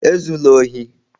Ezula ohi!